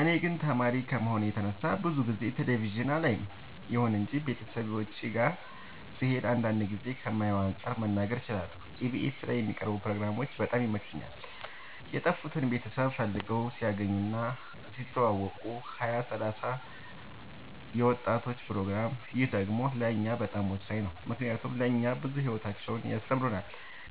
እኔ ግን ተማሪ ከመሆኔ የተነሳ ብዙ ጊዜ ቴሌቪዥን አላይም ይሁን እንጂ ቤተሰቦቼ ጋ ስሄድ አንዳንድ ጊዜ ከማየው አንፃር መናገር እችላለሁ ኢቢኤስ ላይ የሚቀርቡ ፕሮግራሞች በጣም ይመቹኛል የጠፉትን ቤተሰብ ፈልገው ሲያገናኙ እና ሲያስተዋውቁ ሀያ ሰላሳ የወጣቶች ፕሮግራም ይህ ደግሞ ለእኛ በጣም ወሳኝ ነው ምክንያቱም ለእኛ ብዙ ሂወታቸውን ያስተምሩናል